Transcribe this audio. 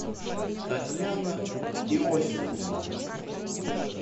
татьяна иосифовна